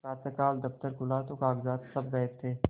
प्रातःकाल दफ्तर खुला तो कागजात सब गायब थे